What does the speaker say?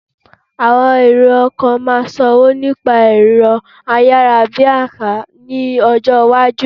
Àwọn èrò ọkọ̀ maaa sanwó nípa ẹ̀rọ ayarabiasa ní ọjọ́ iwájú